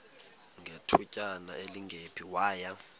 ngethutyana elingephi waya